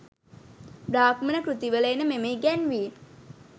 බ්‍රාහ්මණ කෘතිවල එන මෙම ඉගැන්වීම්